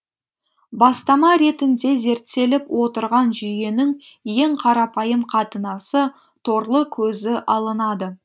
бастама ретінде зерттеліп отырған жүйенің ең қарапайым қатынасы торлы көзі алынады